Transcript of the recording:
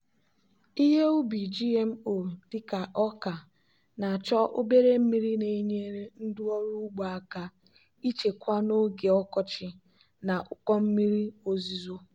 ihe ubi gmo dị ka ọka na-achọ obere mmiri na-enyere ndị ọrụ ugbo aka ịchekwa n'oge ọkọchị na ụkọ mmiri ozuzo.